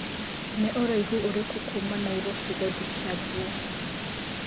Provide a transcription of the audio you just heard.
nĩ ũraĩhu ũrĩkũ Kuma Nairobi gũthĩĩ kiambu